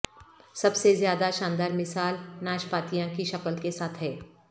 سب سے زیادہ شاندار مثال ناشپاتیاں کی شکل کے ساتھ ہے